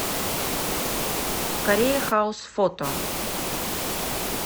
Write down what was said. корея хаус фото